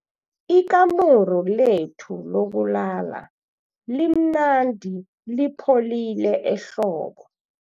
Ikamuru lethu lokulala limnandi lipholile ehlobo.